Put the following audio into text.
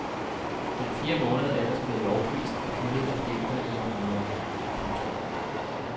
Den fjerde måned er ellers blevet lovprist og hyldet af digtere i århundreder. punktum